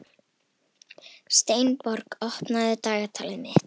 Steinborg, opnaðu dagatalið mitt.